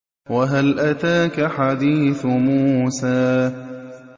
وَهَلْ أَتَاكَ حَدِيثُ مُوسَىٰ